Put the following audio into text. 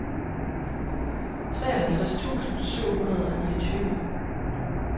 treoghalvtreds tusind syv hundrede og niogtyve